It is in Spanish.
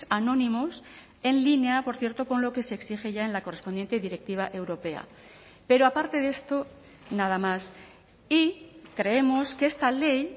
anónimos en línea por cierto con lo que se exige ya en la correspondiente directiva europea pero aparte de esto nada más y creemos que esta ley